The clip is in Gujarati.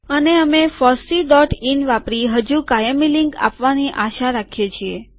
અને અમે ફોસ્સી ડોટ ઇન વાપરી હજુ કાયમી લીંક આપવાની આશા રાખીએ છીએ